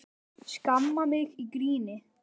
Skammar mig í gríni.